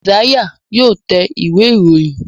Isaiah yóò tẹ̀ Ìwé-ìròyìn.